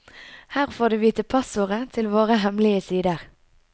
Her får du vite passordet til våre hemmelige sider.